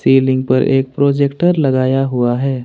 Ceiling पर एक projector लगाया हुआ है।